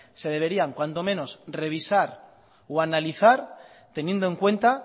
se deberían cuando menos revisar o analizar teniendo en cuenta